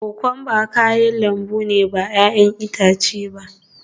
Kokwamba kayan lambu ne ba 'ya'yan itace ba